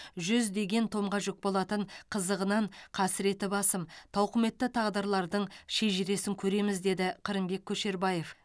жүздеген томға жүк болатын қызығынан қасіреті басым тауқыметті тағдырлардың шежіресін көреміз деді қырымбек көшербаев